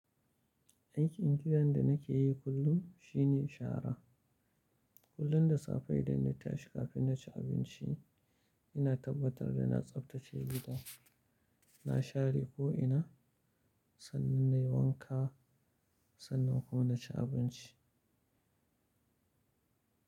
Aikin gidan da nake yi kullum shine shara. Kullum da safe idan na tashi kafin na ci abinci, ina tabbatar da na tsaftace gidan, na share ko ina sannan nayi wanka sannan kuma na ci abinci.